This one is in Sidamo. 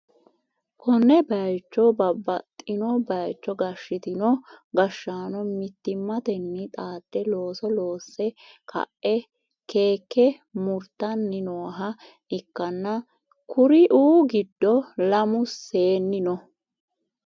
konne bayicho babbaxxino bayicho gashshitanno gashshaano mittimmatenni xaadde looso loosse ka'e keeke murtanni nooha ikkanna, kuri'u giddo lamu seenni no.